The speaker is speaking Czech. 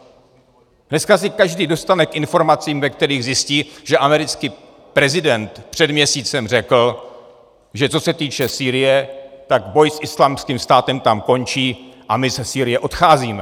Dneska se každý dostane k informacím, ve kterých zjistí, že americký prezident před měsícem řekl, že co se týče Sýrie, tak boj s Islámským státem tam končí a my ze Sýrie odcházíme.